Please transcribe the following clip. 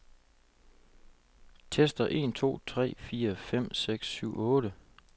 Tester en to tre fire fem seks syv otte.